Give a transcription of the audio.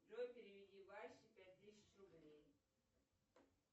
джой переведи васе пять тысяч рублей